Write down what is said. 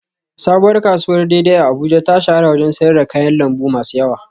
Sabuwar kasuwar dei dei a Abuja ta shahara wajen sayar da kayan lambu masu yawa